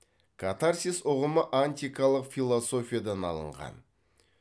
катарсис ұғымы антикалық философиядан алынған